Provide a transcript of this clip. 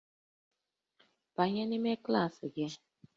Banye n'ime klaasị gị!